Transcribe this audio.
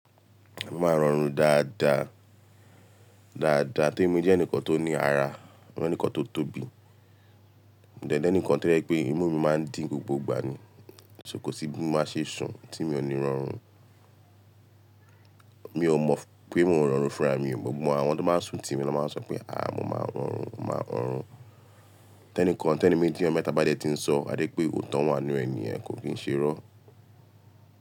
Mo máa ń rọrùn dáadáa, dáadáa torí mo jẹ́ ẹnìkan tó ní ara, mo jẹ́ ẹnìkan tó tóbi, mo dẹ̀ jẹ́ ẹnìkan tí ó jẹ́ pé imú mi máa ń dín gbogbo ìgbà ni, so kó sí bí mo bá ṣe sùn tí mi ò ní rọrùn. Mi ò mọ̀ pé mò ń rọrùn fúnra mi, gbogbo àwọn tó máa ń sùn tí mi ló máa ń sọ pé "àá mo máa rọrùn, mo máa rọrùn". Tẹ́nìkan tẹ́nì méjì ọmọ mẹ́ta bá dé ti ń sọ, a jẹ́ pé òótọ́ wọn ni ènìyàn kò kí ń ṣe rọ́.